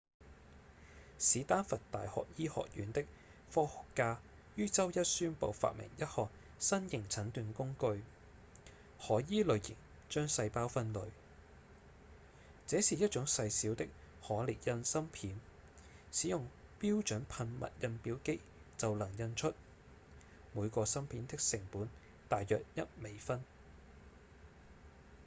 史丹佛大學醫學院的科學家於週一宣布發明一項新型診斷工具可依類型將細胞分類：這是一種細小的可列印芯片使用標準噴墨印表機就能印出每個芯片的成本大約一美分